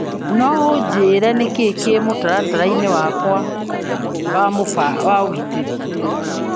No unjĩre nĩkĩĩ kĩ mũtaratara-inĩ wakwa wa ũgũri .